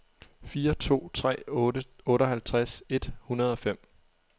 fire to tre otte otteoghalvtreds et hundrede og fem